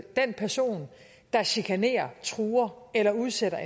den person der chikanerer truer eller udsætter